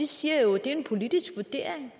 siger jo at det er en politisk vurdering